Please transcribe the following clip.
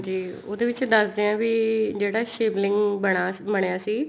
ਉਹਦੇ ਵਿੱਚ ਦੱਸਦੇ ਏ ਵੀ ਜਿਹੜਾ ਸ਼ਿਵ ਲਿੰਗ ਬਣਿਆ ਸੀ